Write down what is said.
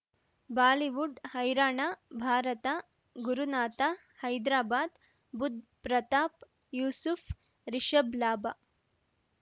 Bollywood ಹೈರಾಣ ಭಾರತ ಗುರುನಾಥ ಹೈದ್ರಾಬಾದ್ ಬುಧ್ ಪ್ರತಾಪ್ ಯೂಸುಫ್ ರಿಷಬ್ ಲಾಭ